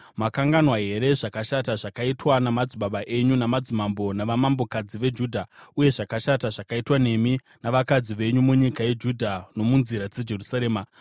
Makanganwa here zvakashata zvakaitwa namadzibaba enyu namadzimambo navanamambokadzi veJudha uye zvakashata zvakaitwa nemi navakadzi venyu munyika yeJudha nomunzira dzeJerusarema?